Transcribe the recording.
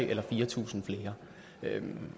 eller fire tusind flere men